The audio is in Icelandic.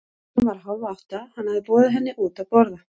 Klukkan var hálf átta, hann hafði boðið henni henni út að borða.